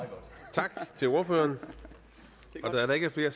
tak til ordføreren da der ikke er flere